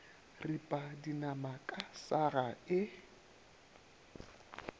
ripa dinama ka saga e